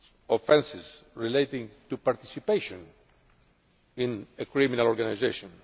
offences relating to participation in a criminal organisation.